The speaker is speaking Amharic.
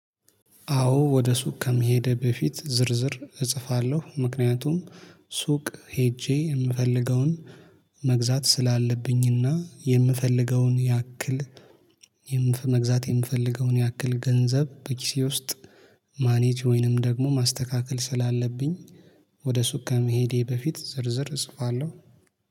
አዎ ወደ ሱቅ ከመሄዴ በፊት ዝርዝር እጽፋለሁ። ምክንያቱም ሱቅ ሄጄ የምፈልገውን መግዛት ስላለብኝና የምፈልገውን ያክል መግዛት የምፈልገውን ያክል ገንዘብ በኪሴ ውስጥ ማኔጅ ወይንም ደግሞ ማስተካከል ስላለብኝ። ወደ ሱቅ ከመሄዴ በፊት ዝርዝር እጽፋለሁ